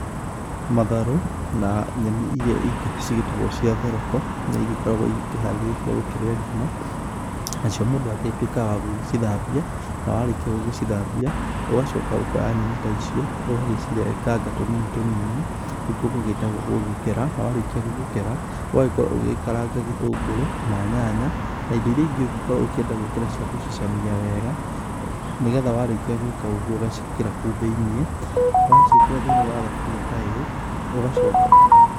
Matharũ na nyeni iria ingĩ cigĩtagwo cia thoroko nĩ igĩkoragwo ikĩharĩrio cia gũkĩrĩa ngima. Na cio mũndũ agĩtuĩkaga wa gũcithambia, na warĩkia gũgĩcithambia ũgacoka ũkoya nyeni ta icio, ũgagĩcirenganga tũnini tũnini, nĩ kuo gũgĩtagwo gũgĩkera. Na warĩkia gũgĩkera, ũgagĩkorwo ũgĩkaranga gĩtũngũrũ na nyanya na indo iria ingĩ ũngĩkorwo ũkĩenda gũĩkĩra cia gũcicamia wega. Nĩ getha warĩkia gwĩka ũguo ũgaciĩkĩra kũu thĩinĩ. Na waciĩkĩra thĩinĩ wa thaburia ta ĩyo, ũgacoka.